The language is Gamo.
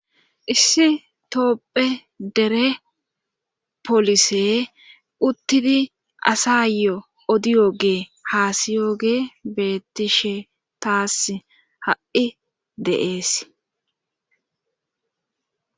Issi toopphe dere polise uttidi asayo odiyogee haasiyoge betishe taas ha7i deees.